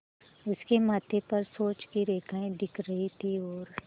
उसके माथे पर सोच की रेखाएँ दिख रही थीं और